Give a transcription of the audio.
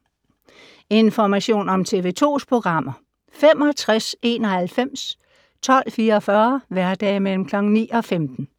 Information om TV 2's programmer: 65 91 12 44, hverdage 9-15.